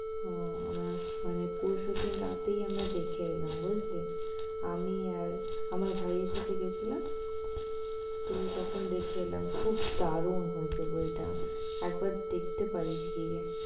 হম মানে আমি পরশু দিন রাতেই আমরা দেখে এলাম। বুঝলি, আমি আর আমার ভাইয়ের সাথে গেছিলাম তো তখন দেখে এলাম, খুব দারুণ হয়েছে বইটা। একবার দেখতে পারিস গিয়ে।"